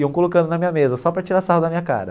Iam colocando na minha mesa só para tirar sarro da minha cara.